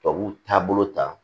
Tubabu taabolo ta